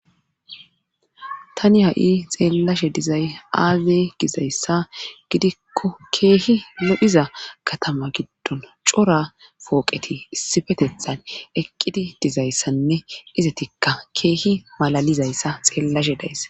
tani ha7i xeellashe dizay aaze gizayssa gidikko keehi lo7iza katama giddon cora pooqeti issifetethan eqqidi dizayssanne izatikka keehi malalizayssa xeellashe dayssa